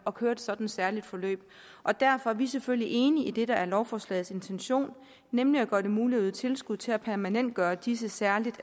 at køre et sådant særligt forløb og derfor er vi selvfølgelig enige i det der er lovforslagets intention nemlig at gøre det muligt at yde tilskud til at permanentgøre disse særligt